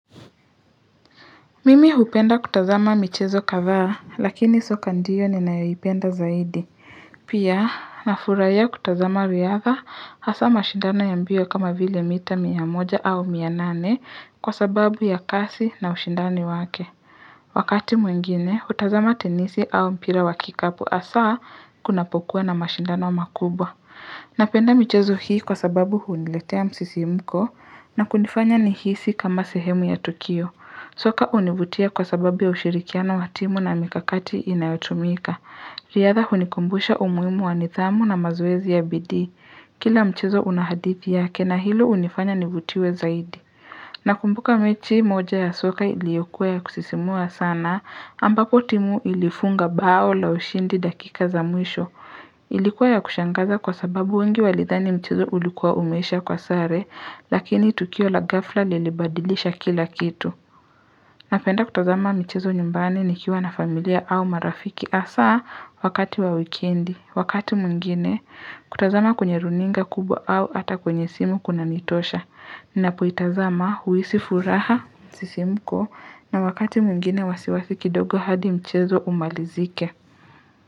Mimi hupenda kutazama michezo kadhaa, lakini soka ndiyo ninayoipenda zaidi. Pia, nafurahia kutazama riadha, hasa mashindano ya mbio kama vile mita mia moja au mia nane kwa sababu ya kasi na ushindani wake. Wakati mwengine, hutazama tenisi au mpira wa kikapu hasa kunapokuwa na mashindano makubwa. Napenda michezo hii kwa sababu huniletea msisimuko na kunifanya nihisi kama sehemu ya Tokio. Soka univutia kwa sababu ya ushirikiano wa timu na mikakati inayotumika. Liadha hunikumbuisha umuhimu wa nidhamu na mazoezi ya bidii. Kila mchezo unahadithi yake na hilo unifanya nivutiwe zaidi. Nakumbuka mechi moja ya soka iliyokua ya kusisimua sana ambapo timu ilifunga bao la ushindi dakika za mwisho Ilikuwa ya kushangaza kwa sababu wengi walidhani mchezo ulikuwa umeisha kwa sare lakini tukio la gafla lilibadilisha kila kitu Napenda kutazama michezo nyumbani nikiwa na familia au marafiki hasa wakati wa wikendi, wakati mwingine, kutazama kwenye runinga kubwa au ata kwenye simu kunanitosha Ninapoitazama huhisifuraha msisimko na wakati mwingine wasiwasi kidogo hadi mchezo umalizike.